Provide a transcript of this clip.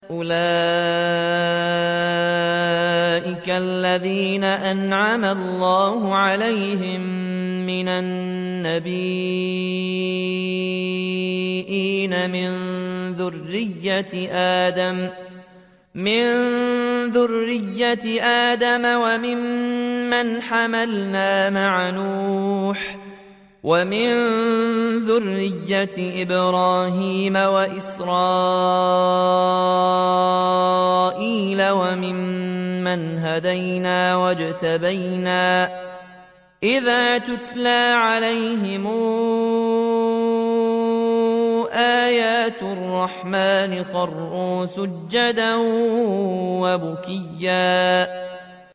أُولَٰئِكَ الَّذِينَ أَنْعَمَ اللَّهُ عَلَيْهِم مِّنَ النَّبِيِّينَ مِن ذُرِّيَّةِ آدَمَ وَمِمَّنْ حَمَلْنَا مَعَ نُوحٍ وَمِن ذُرِّيَّةِ إِبْرَاهِيمَ وَإِسْرَائِيلَ وَمِمَّنْ هَدَيْنَا وَاجْتَبَيْنَا ۚ إِذَا تُتْلَىٰ عَلَيْهِمْ آيَاتُ الرَّحْمَٰنِ خَرُّوا سُجَّدًا وَبُكِيًّا ۩